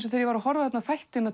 þegar ég var að horfa á þættina